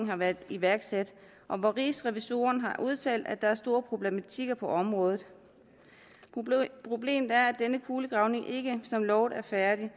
har været iværksat en og hvor rigsrevisorerne har udtalt at der er store problematikker på området problemet er at denne kulegravning ikke som lovet er færdig